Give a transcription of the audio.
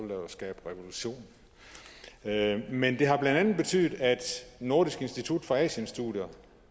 jo skabe revolution men det har blandt andet betydet at nordisk institut for asienstudier